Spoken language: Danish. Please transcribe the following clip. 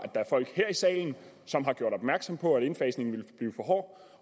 der er folk her i salen som har gjort opmærksom på at indfasningen ville blive for hård